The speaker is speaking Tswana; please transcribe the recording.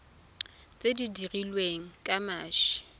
tse di dirilweng ka mashi